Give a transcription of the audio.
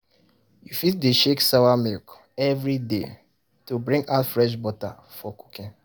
you fit dey shake sawa milk every day to bring out fresh butter for cooking